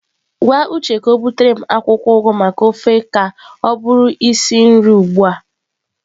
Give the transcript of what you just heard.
Gwa uche ka butere m akwụkwọ ugu maka ofe ka ọ bụrụ isi nri ugbu a.